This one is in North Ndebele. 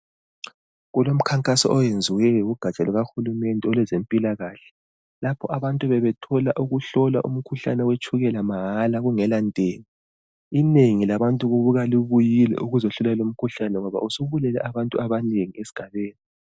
Kulomkhankaso oyenziweyo lugaja lukahulumende olwezempilakahle lapho abantu bebethola ukuhlolwa umkhuhlane wetshukela mahala kungela ntengo. Inengi labantu kubuka libuyile ukuzohlola lumkhuhlane ngoba usubulale abantu abanengi esigabeni.